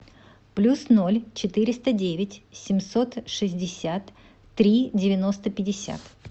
плюс ноль четыреста девять семьсот шестьдесят три девяносто пятьдесят